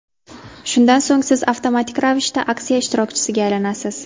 Shundan so‘ng siz avtomatik ravishda aksiya ishtirokchisiga aylanasiz.